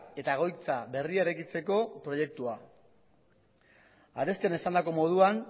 eta egoitza berria eraikitzeko proiektua arestian esandako moduan